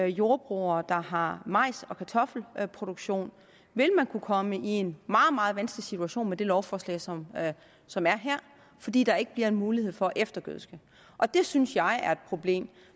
jordbrugere der har majs og kartoffelproduktion vil kunne komme i en meget meget vanskelig situation med det lovforslag som er som er her fordi der ikke bliver mulighed for at eftergødske det synes jeg er et problem